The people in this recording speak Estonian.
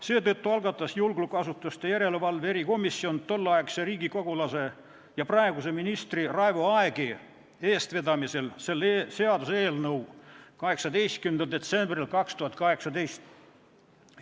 Seetõttu algatas julgeolekuasutuste järelevalve erikomisjon tolleaegse riigikogulase ja praeguse ministri Raivo Aegi eestvedamisel 18. detsembril 2018 selle seaduseelnõu.